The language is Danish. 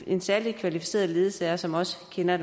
en særlig kvalificeret ledsager som også kender